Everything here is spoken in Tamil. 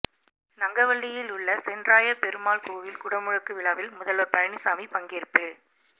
நங்கவள்ளியில் உள்ள சென்றாய பெருமாள் கோயில் குடமுழுக்கு விழாவில் முதல்வர் பழனிசாமி பங்கேற்பு